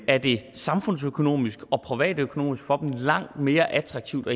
er det samfundsøkonomisk og privatøkonomisk langt mere attraktivt